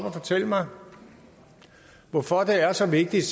og fortælle mig hvorfor det er så vigtigt